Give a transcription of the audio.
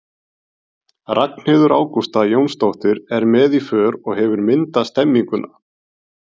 Ragnheiður Ágústa Jónsdóttir er með í för og hefur myndað stemmninguna.